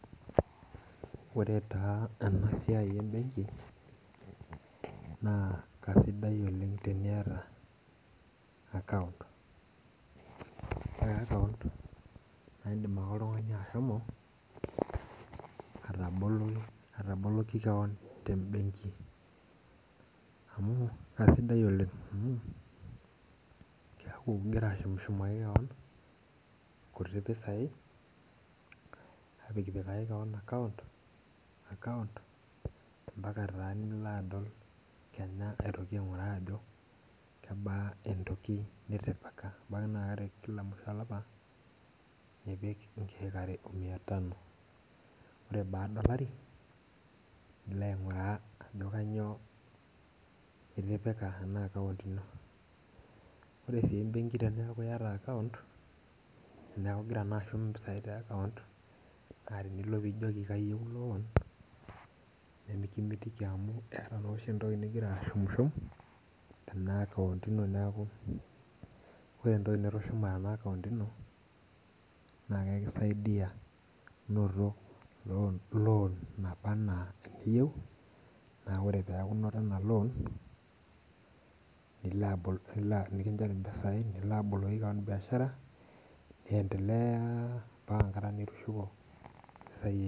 Ore taa enasiai ebenki, naa kasidai oleng' teniata akaunt. Ore akaunt, na idim ake oltung'ani ashomo ataboloki keon tebenki. Amu kasidai oleng' amu, keeku gira ashumshumaki keon, nkuti pisai, apikpikaki keon akaunt, mpaka taa nilo adol kenya aitoki aing'uraa ajo kebaa entoki nitipika. Ebaki naa kila musho olapa, nipik inkeek are omia tano. Ore baada olari, nilo aing'uraa ajo kanyioo itipika ena akaunt ino. Ore si ebenki teneeku yata akaunt, neeku gira naa ashum impisai te akaunt, naa tenilo pijoki kayieu loan, nemikimitiki amu eeta noshi entoki nigira ashum, tena akaunt ino neeku ore entoki nitushuma tena akaunt ino, na kekisaidia noto loan naba enaa eniyieu, na ore peku noto ena loan, nilo abol nekinchori mpisai nilo aboloki keon biashara, niendelea mpaka enkata nitushuko mpisai